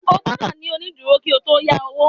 O gbọ́dọ̀ ní onídúró kí o yá owó